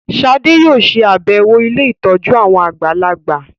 Shade yóò ṣe àbẹwò ílé ìtọjú àwọn àgbàlagbà.